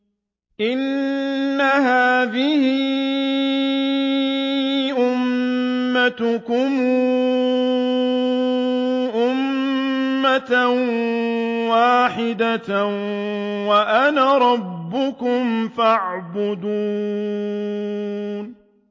إِنَّ هَٰذِهِ أُمَّتُكُمْ أُمَّةً وَاحِدَةً وَأَنَا رَبُّكُمْ فَاعْبُدُونِ